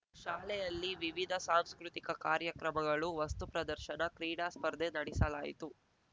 ಶಾಲೆಯಲ್ಲಿ ವಿವಿಧ ಸಾಂಸ್ಕೃತಿಕ ಕಾರ್ಯಕ್ರಮಗಳು ವಸ್ತು ಪ್ರದರ್ಶನ ಕ್ರೀಡಾ ಸ್ಪರ್ಧೆ ನಡೆಸಲಾಯಿತು